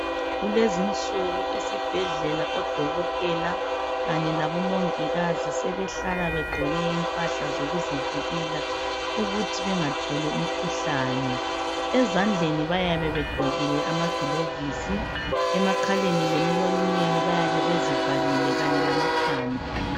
Kulezi insuku esibhedlela odokotela kanye labomongikazi sebehlala begqoke impahla zokuzivikela ukuthi bengatholi umkhuhlane. Ezandleni bayabe begqokile amagilovisi emakhaleni lemilonyeni bayabe bezivalile Kanye lamakhanda